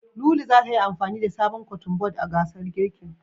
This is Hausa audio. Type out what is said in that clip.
Lulu zata yi amfani da sabon Kotun bod a gasar girkin.